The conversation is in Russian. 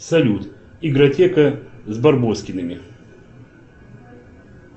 салют игротека с барбоскиными